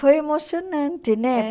Foi emocionante, né?